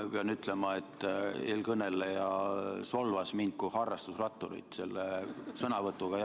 Ma pean ütlema, et eelkõneleja solvas selle sõnavõtuga mind kui harrastusratturit.